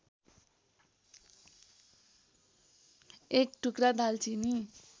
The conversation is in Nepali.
एक टुक्रा दालचिनी